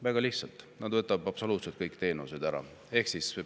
Väga lihtsalt: neilt võetakse absoluutselt kõik teenused ära.